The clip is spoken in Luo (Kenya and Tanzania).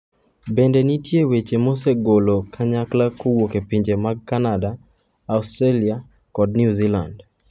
Bende nitie weche mosegolo kanyakla kowuok e pinje mag Kanada, Australia kod New Zealand.